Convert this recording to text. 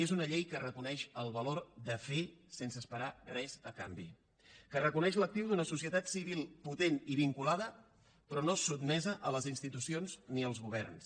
és una llei que reconeix el valor de fer sense esperar res a canvi que re co neix l’actiu d’una societat civil potent i vinculada però no sotmesa a les institucions ni als governs